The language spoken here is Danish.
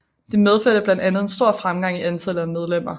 Det medførte blandt andet en stor fremgang i antallet af medlemmer